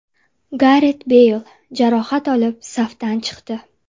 Garet Beyl jarohat olib, safdan chiqdi.